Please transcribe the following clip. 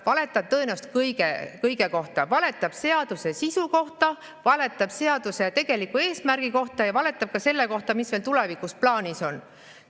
Valetab tõenäoliselt kõige kohta, valetab seaduse sisu kohta, valetab seaduse tegeliku eesmärgi kohta ja valetab ka selle kohta, mis veel tulevikus plaanis on.